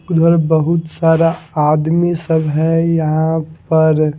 उधर बहुत सारा आदमी सब है यहां पर--